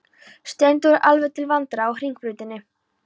Steindór er alveg til vandræða á Hringbrautinni.